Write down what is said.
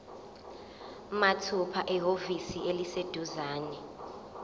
mathupha ehhovisi eliseduzane